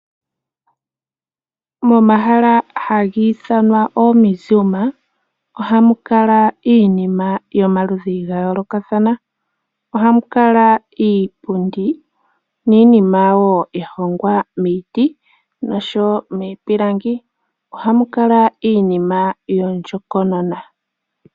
Momahala haga ithanwa oo Mesuma ohamu kala iinima yomaludhi ga yoolokathana . Ohamu kala iipundi niinima woo ya hongwa miiti nosho woo miipilangi. Ohamu kala iinima yondjokonona.